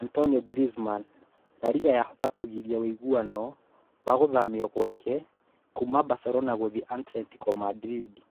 Antoine Griezmann: La Liga yahota kũgiria ũiguano wa gũthamio gwake kuuma Barcelona gũthiĩ Atletico Madrid